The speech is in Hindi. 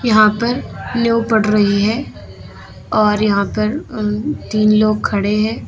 वहां पर नींव पड़ रही है और यहां पर तीन लोग खड़े हैं।